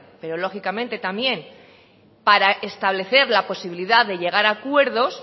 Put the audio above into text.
pero lógicamente también para establecer la posibilidad de llegar a acuerdos